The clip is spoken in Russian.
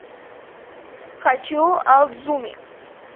хочу адзуми